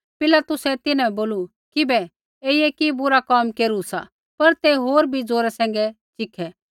पिलातुसै तिन्हां बै बोलू किबै ऐईयै कि बुरा कोम केरू सा पर तै होर भी जौरे सैंघै चीखे तेइबै क्रूसा पैंधै च़ढ़ा